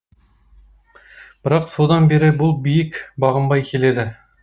бірақ содан бері бұл биік бағынбай келеді